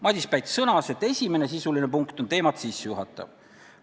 Madis Päts sõnas, et esimene sisuline punkt on teemat sissejuhatav.